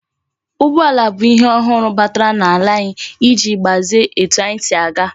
Ụgbọala bụ ihe ọhụrụ batara na ala anyi iji gbazie etu anyi si aga